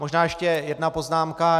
Možná ještě jedna poznámka.